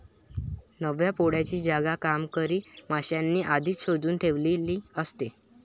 नव्या पोळ्याची जागा कामकरी माश्यांनी आधीच शोधून ठेवलेली असते.